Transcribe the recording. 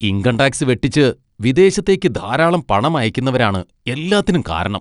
Income tax വെട്ടിച്ച് വിദേശത്തേക്ക് ധാരാളം പണം അയക്കുന്നവരാണ് എല്ലാത്തിനും കാരണം.